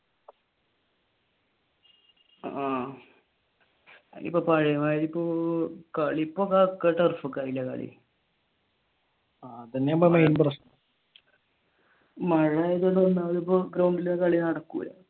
ആഹ് മഴയായതുകൊണ്ട് ഗ്രൗണ്ടിൽ കളി നടക്കൂല.